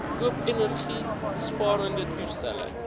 koop energiesparende toestelle